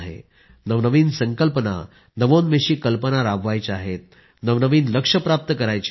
नवनवीन संकल्पना नवोन्मेषी कल्पना राबवायच्या आहेत नवनवीन लक्ष्य प्राप्त करायची आहेत